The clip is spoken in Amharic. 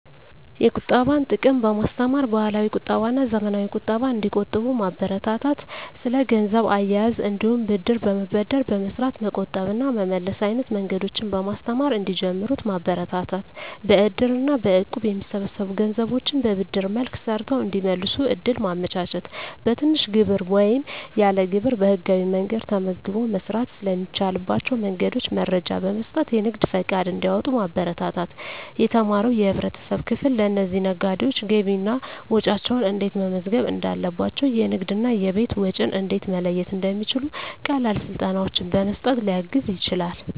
የቁጠባን ጥቅም በማስተማር፣ ባህላዊ ቁጠባና ዘመናዊ ቁጠባን እንዲቆጥቡ ማበረታታት። ስለ ገንዘብ አያያዝ እንዲሁም ብድር በመበደር በመስራት መቆጠብ እና መመለስ አይነት መንገዶችን በማስተማር እንዲጀምሩት ማበረታታት። በእድር እና በእቁብ የሚሰበሰቡ ገንዘቦችን በብድር መልክ ሰርተው እንዲመልሱ እድል ማመቻቸት። በትንሽ ግብር ወይም ያለ ግብር በህጋዊ መንገድ ተመዝግቦ መስራት ስለሚቻልባቸው መንገዶች መረጃ በመስጠት የንግድ ፈቃድ እንዲያወጡ ማበረታታት። የተማረው የህብረተሰብ ክፍል ለእነዚህ ነጋዴዎች ገቢና ወጪያቸውን እንዴት መመዝገብ እንዳለባቸው፣ የንግድና የቤት ወጪን እንዴት መለየት እንደሚችሉ ቀላል ስልጠናዎችን በመስጠት ሊያግዝ ይችላል።